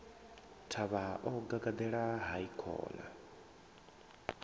thavha o gagaḓela hai khona